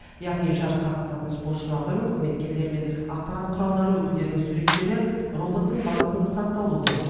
яғни жарысқа қатысатын спортшылардың қызметкерлер мен ақпарат құралдары өкілдерінің суреттері роботтың базасында сақтаулы болады